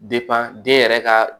den yɛrɛ ka